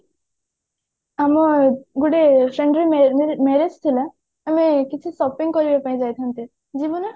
ଆଲୋ ଗୋଟେ ସାଙ୍ଗ ମା marriage ଥିଲା ମୁଁ କିଛି shopping କରିବା ପାଇଁ ଯାଇଥାନ୍ତି ଯିବୁ ନା